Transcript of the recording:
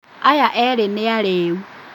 Aya erĩ nĩ arĩu